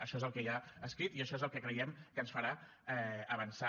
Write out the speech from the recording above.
això és el que hi ha escrit i això és el que creiem que ens farà avançar